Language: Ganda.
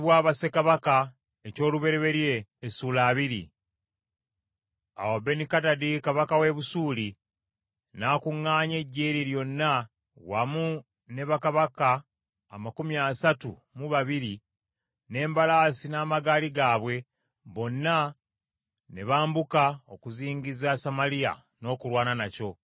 Awo Benikadadi kabaka w’e Busuuli n’akuŋŋaanya eggye lye lyonna wamu ne bakabaka amakumi asatu mu babiri n’embalaasi n’amagaali gaabwe, bonna ne bambuka okuzingiza Samaliya n’okulwana nakyo.